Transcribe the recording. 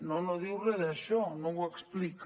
no no diu re d’això no ho explica